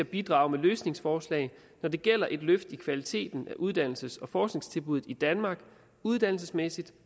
bidrage med løsningsforslag når det gælder et løft i kvaliteten af uddannelses og forskningstilbuddet i danmark uddannelsesmæssigt